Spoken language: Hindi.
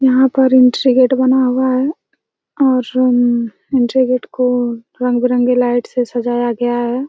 यहाँ पर एंट्री गेट बना हुआ हैं और उम एंट्री गेट को रंग बिरंगे लाइट से सजाया गया हैं।